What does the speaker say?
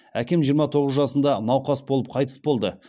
әкем жиырма тоғыз жасында науқас болып қайтыс болды